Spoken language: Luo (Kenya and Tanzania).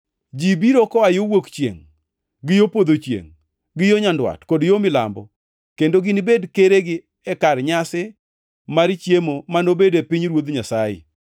Ji biro biro koa yo wuok chiengʼ gi yo podho chiengʼ, gi yo nyandwat kod yo milambo, kendo ginibed keregi e kar nyasi mar chiemo manobed e pinyruoth Nyasaye.